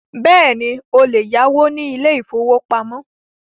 Bẹ́ẹ̀ni, o lè yáwó ní ilé ìfọwọ́pamo.